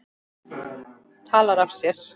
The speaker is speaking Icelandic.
Talar af sér.